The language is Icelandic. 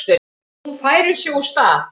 Hún færir sig úr stað.